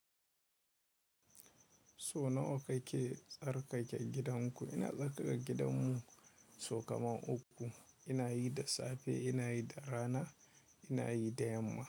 So nawa kake tsarkake gidanku? Ina tsarkake gidanmu sau kaman uku. Ina yi da safe, ina yi da rana, ina yi da yamma.